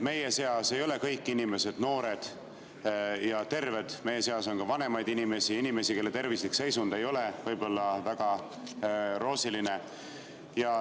Meie seas ei ole kõik inimesed noored ja terved, meie seas on ka vanemaid inimesi ja neid, kelle tervislik seisund ei ole võib-olla väga roosiline.